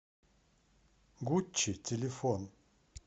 гуччи телефон